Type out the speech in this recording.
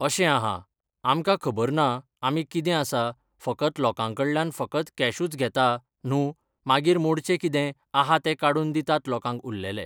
अशें आहा आमकां खबर ना आमी कितें आसा फकत लोकां कडल्यान फकत कॅशूच घेता न्हू मागीर मोडचें कितें आहा तें काडून दितात लोकांक उरलेले